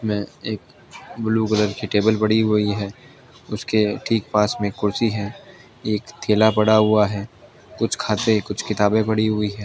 में एक blue colour की टेबल पड़ी हुई हैं उसके ठीक पास में कुर्ची हैं एक थिला पड़ा हुवा हैं कुछ खाते कुछ किताबें पड़ी हुई है।